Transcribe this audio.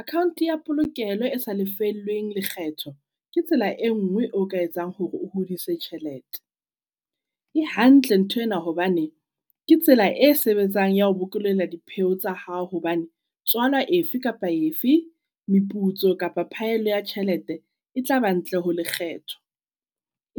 Account ya polokelo e sa lefellweng lekgetho. Ke tsela e nngwe oka etsang hore o hodise tjhelete. E hantle ntho ena hobane ke tsela e sebetsang ya ho bokollela dipheo tsa hao. Hobane tswalwa efe kapa efe, meputso kapa phaello ya tjhelete e tla ba ntle ho lekgetho.